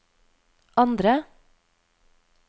andre